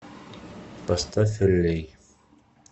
поставь эллей